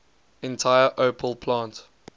entire opel plant